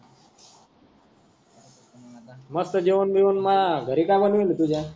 मस्त जेवण गीवन मा घरी का बनिवील तुझा.